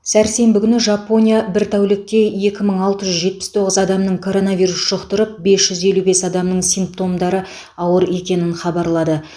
сәрсенбі күні жапония бір тәулікте екі мың алты жүз жетпіс тоғыз адамның коронавирус жұқтырып бес жүз елу бес адамның симптомдары ауыр екенін хабарлады